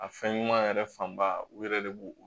A fɛn ɲuman yɛrɛ fanba u yɛrɛ de b'o o